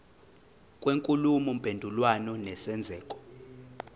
kwenkulumo mpendulwano nesenzeko